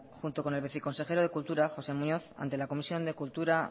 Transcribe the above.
junto con el viceconsejero de cultura joxean muñoz ante la comisión de cultura